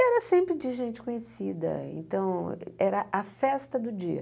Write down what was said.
Era sempre de gente conhecida, então era a festa do dia.